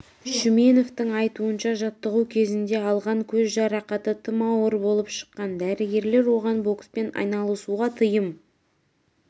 шүменовтің айтуынша жаттығу кезінде алған көз жарақаты тым ауыр болып шыққан дәрігерлер оған бокспен айналысуға тыйым